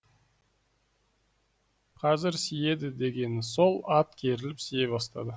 қазір сиеді дегені сол ат керіліп сие бастады